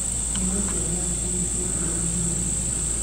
Nyĩmbo na ndaci nĩ ciĩkirwo nginya ũtukũ.